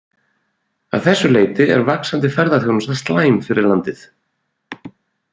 Að þessu leyti er vaxandi ferðaþjónusta slæm fyrir landið.